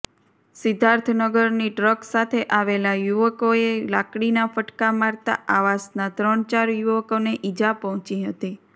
સિદ્ધાર્થનગરની truck સાથે આવેલા યુવકોએ લાડકીના ફટકા મારતાં આવાસના ત્રણ ચાર યુવકોને ઇજા પહોંચી હતી